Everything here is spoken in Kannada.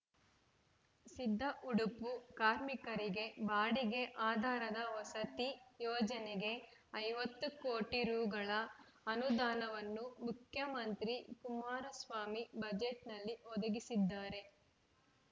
ಸಿದ್ದಉಡುಪು ಕಾರ್ಮಿಕರಿಗೆ ಬಾಡಿಗೆ ಆಧಾರದ ವಸತಿ ಯೋಜನೆಗೆ ಐವತ್ತು ಕೋಟಿ ರೂಗಳ ಅನುದಾನವನ್ನು ಮುಖ್ಯಮಂತ್ರಿ ಕುಮಾರಸ್ವಾಮಿ ಬಜೆಟ್‌ನಲ್ಲಿ ಒದಗಿಸಿದ್ದಾರೆ